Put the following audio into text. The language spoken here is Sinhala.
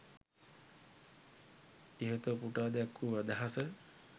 ඉහත උපුටා දැක්වූ අදහස